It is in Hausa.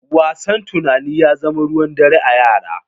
Wasan tunani ya zama ruwan dare a yara.